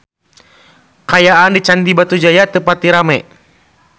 Kaayaan di Candi Batujaya teu pati rame